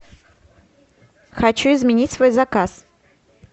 хочу изменить свой заказ